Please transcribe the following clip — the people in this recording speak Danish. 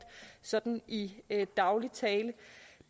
sådan i daglig tale